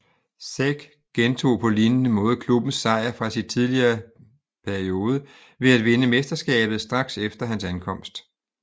Zec gentog på lignende måde klubbens sejr fra sit tidligere periode ved at vinde mesterskabet straks efter hans ankomst